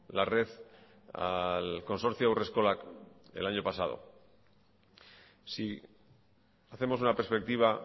la red al consorcio haurreskolak el año pasado si hacemos una perspectiva